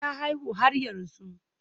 Ta haihu har yanzu